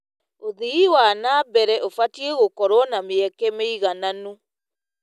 ũthii wa na mbere ũbatiĩ gũkorwo na mĩeke mĩigananu.